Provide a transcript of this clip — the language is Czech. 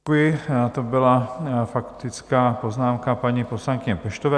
To byla faktická poznámka paní poslankyně Peštové.